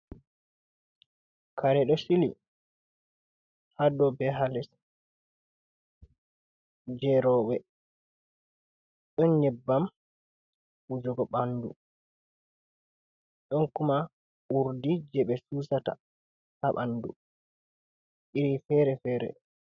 Kare ɗo sili ha do be hales jerobe, ɗon nyebbam wujugo ɓandu, ɗon kuma urdi je ɓe susata ha bandu iri fere fere.